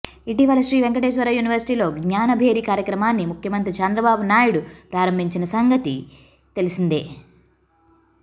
ఇటీవల శ్రీవెంకటేశ్వర యూనివర్సిటీలో జ్ఞానభేరి కార్యక్రమాన్ని ముఖ్యమంత్రి చంద్రబాబు నాయుడు ప్రారంభించిన సంగతి తెలిసిందే